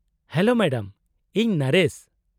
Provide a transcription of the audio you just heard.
-Hello madam. ᱤᱧ ᱱᱚᱨᱮᱥ ᱾